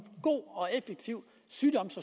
god og effektiv sygdoms